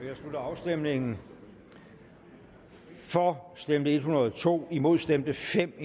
jeg slutter afstemningen for stemte en hundrede og to imod stemte fem